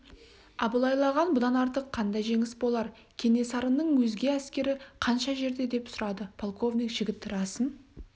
абылайлаған бұдан артық қандай жеңіс болар кенесарының өзге әскері қанша жерде деп сұрады полковник жігіт расын